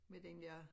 Men den dér